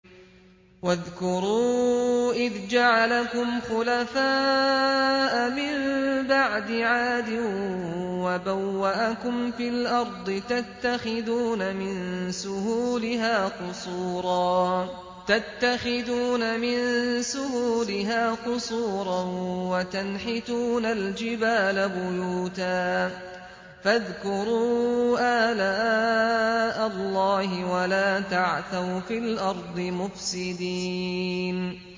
وَاذْكُرُوا إِذْ جَعَلَكُمْ خُلَفَاءَ مِن بَعْدِ عَادٍ وَبَوَّأَكُمْ فِي الْأَرْضِ تَتَّخِذُونَ مِن سُهُولِهَا قُصُورًا وَتَنْحِتُونَ الْجِبَالَ بُيُوتًا ۖ فَاذْكُرُوا آلَاءَ اللَّهِ وَلَا تَعْثَوْا فِي الْأَرْضِ مُفْسِدِينَ